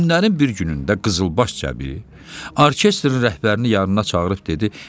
Günlərin bir günündə qızılbaş Cəbi orkestrin rəhbərini yanına çağırıb dedi: